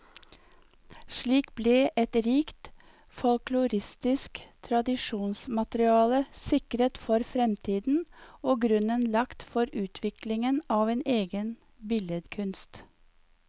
Slik ble et rikt folkloristisk tradisjonsmateriale sikret for fremtiden, og grunnen lagt for utviklingen av en egen billedkunst.